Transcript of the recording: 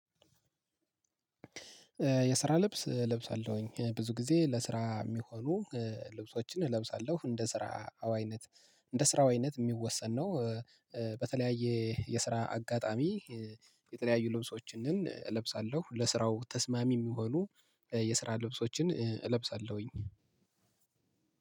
የስራ ልብስ እለብሳለሁኝ ብዙ ጊዜ ለስራ የሚሆኑ ልብሶችን እለብሳለሁ እንደ ስራው አይነት እንደ ስራው አዋይነት የሚወሰን ነው። በተለያየ የስራ አጋጣሚ የተለያዩ ልብሶችንን እለብሳለሁ። ለስራው ተስማሚ የሚሆኑ የስራ ልብሶችን እለብሳለሁኝ።